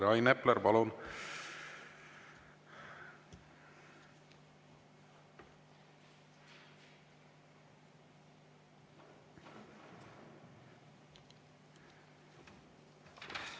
Rain Epler, palun!